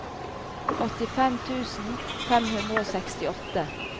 åttifem tusen fem hundre og sekstiåtte